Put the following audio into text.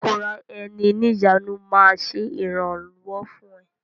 ìkóra ẹni níjàánu máa ṣe ìrànwọ́ fún ẹ.